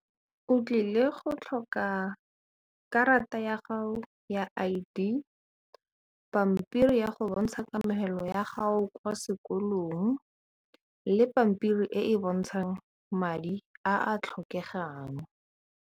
O tlile go tlhoka karata ya gago ya I_D pampiri ya go bontsha kamogelo ya gago kwa sekolong le pampiri e e bontshang madi a a tlhokegang.